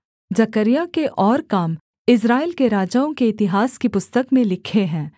जकर्याह के और काम इस्राएल के राजाओं के इतिहास की पुस्तक में लिखे हैं